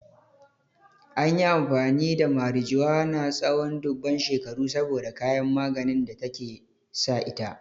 An yi amfani da marijuana tsawon dubban shekaru saboda kayan maganin da take sa ita.